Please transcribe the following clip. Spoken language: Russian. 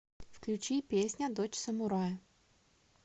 включи песня дочь самурая